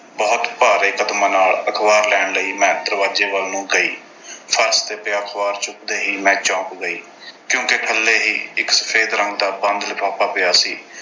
ਬਹੁਤ ਭਾਰੇ ਕਦਮਾਂ ਨਾਲ ਅਖਬਾਰ ਲੈਣ ਲਈ, ਮੈਂ ਦਰਵਾਜ਼ੇ ਵੱਲ ਨੂੰ ਗਈ। ਫਰਸ਼ ਤੇ ਪਿਆ ਅਖਬਾਰ ਚੁੱਕਦੇ ਹੀ ਮੈਂ ਚੌਂਕ ਗਈ ਕਿਉਂਕਿ ਥੱਲੇ ਹੀ ਇੱਕ ਸਫੈਦ ਰੰਗ ਦਾ ਬੰਦ ਲਿਫ਼ਾਫ਼ਾ ਪਿਆ ਸੀ।